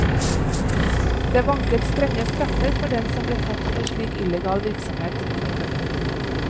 Det vanket strenge straffer for den som ble tatt for slik illegal virksomhet. punktum